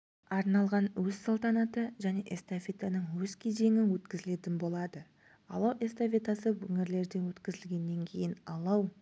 арналған өз салтанаты және эстафетаның өз кезеңі өткізілетін болады алау эстафетасы өңірлерде өткізілгеннен кейін алау